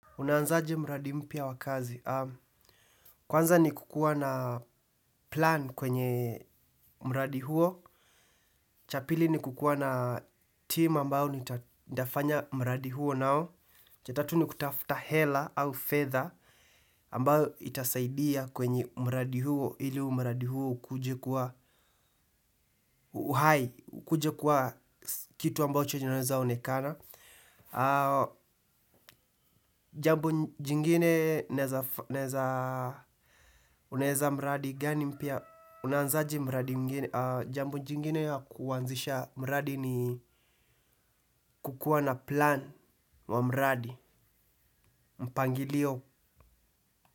Unaanza aje mradi mpya wa kazi. Kwanza ni kukuwa na plan kwenye mradi huo. Cha pili ni kukuwa na team ambayo nitafanya mradi huo nao. Cha tatu ni kutafuta hela au fedha ambayo itasaidia kwenye mradi huo ili umradi huo ukuje kuwa kitu ambacho kinaweza onekana. Jambo jingine unaeza mradi gani mpya unaanzaje mradi mwingine. Jambo jingine kuanzisha mradi ni kukuwa na plan wa mradi mpangilio.